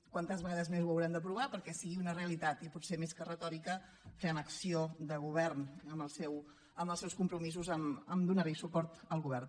quantes vegades més ho haurem d’aprovar perquè sigui una realitat i potser més que retòrica fem acció de govern amb els seus compromisos a donar suport al govern